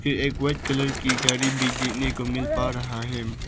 पे एक white colour की गाड़ी देखने को मिल पा रहा है।